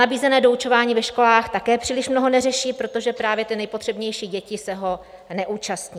Nabízené doučování ve školách také příliš mnoho neřeší, protože právě ty nejpotřebnější děti se ho neúčastní.